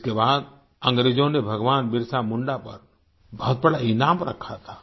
जिसके बाद अंग्रेजों ने भगवान बिरसा मुंडा पर बहुत बड़ा इनाम रखा था